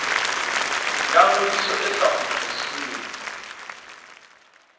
ya ngodiso e sa kgutlisweng